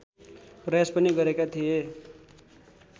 प्रयास पनि गरेका थिए